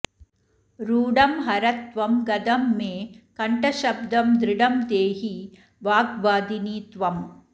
रूढं हर त्वं गदं मे कण्ठशब्दं दृढं देहि वाग्वादिनि त्वम्